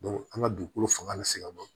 an ka dugukolo fanga ka se ka bɔ